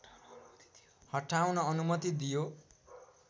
हटाउन अनुमति दियो